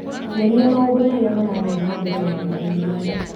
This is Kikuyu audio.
nyonia maũndũ marĩa marathiĩ na mbere mahinda-inĩ maya